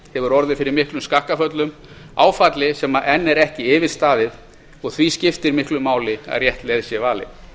hefur orðið fyrir miklum skakkaföllum áfalli sem enn er ekki yfirstaðið og því skiptir miklu máli að rétt leið sé valin